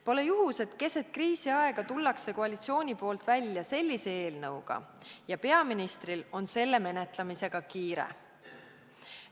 Pole juhus, et keset kriisiaega tuleb koalitsioon välja sellise eelnõuga ja et peaministril on selle menetlemisega kiire.